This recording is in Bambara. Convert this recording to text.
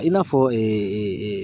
I n'a fɔ